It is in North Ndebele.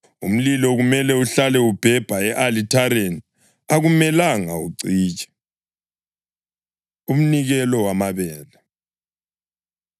Umlilo kumele uhlale ubhebha e-alithareni; akumelanga ucitshe.’ ” Umnikelo Wamabele